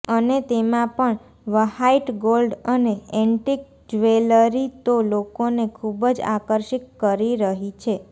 અને તેમાં પણ વ્હાઈટ ગોલ્ડ અને એન્ટીક જવેલરી તો લોકોને ખૂબજ આકર્ષિત કરી રહી છે